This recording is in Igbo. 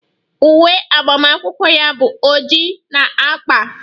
Uwe agbamakwụkwọ ya bụ oji na agba